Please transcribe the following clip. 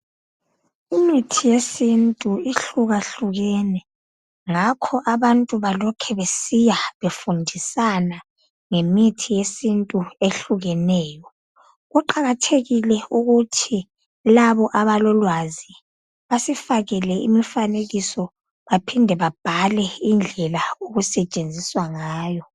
Imithi yesintu ihlukahlukene. Ngakho abantu balokhe besiya befundisana ngemithi yesintu ehlukeneyo. Kuqakathekile ukuthi labo abalolwazi basifakele imfanekiso baphinde babhale indlela okusetshenziswa ngayo.